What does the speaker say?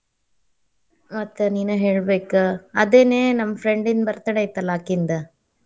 ಮತ್ ನೀನ ಹೇಳಬೇಕ. ಅದೇನೆ ನಮಮ್ಮ friend ನ birthday ಇತ್ತಲಾ ಅಕಿಂದ.